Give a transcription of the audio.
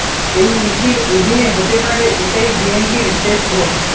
এই ইসির অধীনে হতে পারে এটাই বিএনপির শেষ ভোট